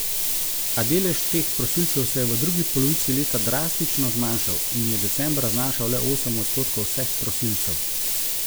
A delež teh prosilcev se je v drugi polovici leta drastično zmanjšal in je decembra znašal le osem odstotkov vseh prosilcev.